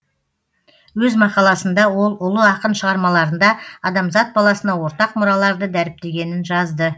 өз мақаласында ол ұлы ақын шығармаларында адамзат баласына ортақ мұраларды дәріптегенін жазды